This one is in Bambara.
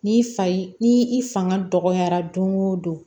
Ni fa ni i fanga dɔgɔyara don o don